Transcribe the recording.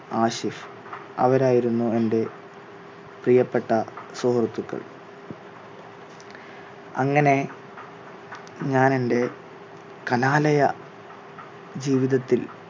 ആഷിഫ് അവർ ആയിരുന്നു എന്റെ പ്രിയപ്പെട്ട സുഹൃത്തുക്കൾ. അങ്ങനെ ഞാനെൻറെ കലാലയ ജീവിതത്തിൽ